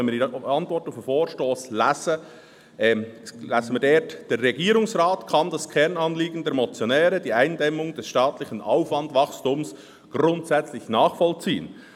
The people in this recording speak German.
Wenn wir die Antwort auf den Vorstoss lesen, lesen wir, «Der Regierungsrat kann das Kernanliegen der Motionäre – die Eindämmung des staatlichen Aufwandwachstums – grundsätzlich nachvollziehen.